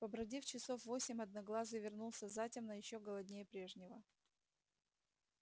побродив часов восемь одноглазый вернулся затемно ещё голоднее прежнего